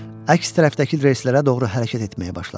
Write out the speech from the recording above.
Əks tərəfdəki relslərə doğru hərəkət etməyə başladı.